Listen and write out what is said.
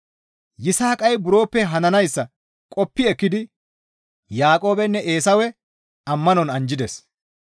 Yisaaqay buroppe hananayssa qoppi ekkidi Yaaqoobenne Eesawe ammanon anjjides.